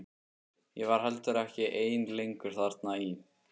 Ég var heldur ekki ein lengur þarna í